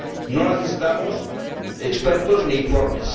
No necesitamos expertos ni informes.